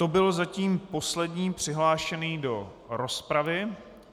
To byl zatím poslední přihlášený do rozpravy.